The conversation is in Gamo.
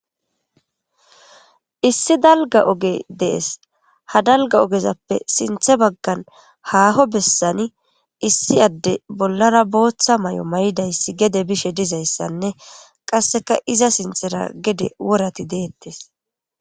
issi dalga oge dees ha dalga ogezappe sinthe baggan haaho bessani issi adde bollara booththa may7o may7dayssi gede bishe dizayssanne qasseka iza sinthera gede worati deettes